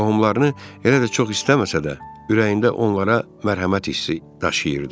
Qohumlarını elə də çox istəməsə də, ürəyində onlara mərhəmət hissi daşıyırdı.